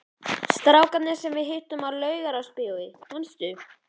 Strákarnir sem við hittum í Laugarásbíói, manstu?